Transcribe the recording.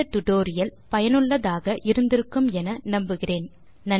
இந்த டுடோரியல் சுவாரசியமாகவும் பயனுள்ளதாகவும் இருந்திருக்கும் என நம்புகிறேன்